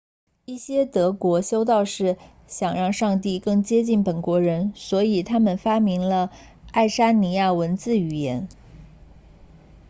一些德国修道士想让上帝更接近本国人所以他们发明了爱沙尼亚文字语言